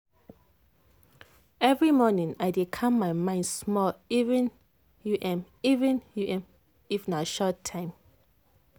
every morning i dey calm my mind small even u m even u m if na short time